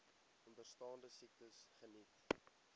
onderstaande siektes geniet